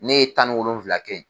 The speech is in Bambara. Ne ye tan ni wolonfila kɛ yen.